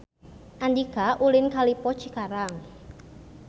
Andika ulin ka Lippo Cikarang